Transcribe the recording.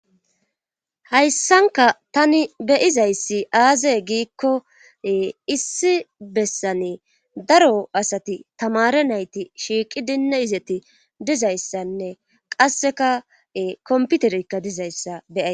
Hayssanka tani beyizayssi aazaye giikkoe issi bessane daro asati tamare nayti shiiqi dinne izeti dizayssanne qassekae komputerikka dizayssa beyay.